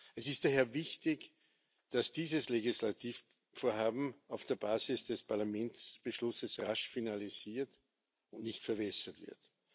Es ist daher wichtig, dass dieses Legislativvorhaben auf der Basis des Parlamentsbeschlusses rasch finalisiert und nicht verwässert wird.